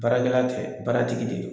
Baarakɛla tɛ baara tigi de don.